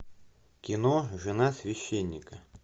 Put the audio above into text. кино жена священника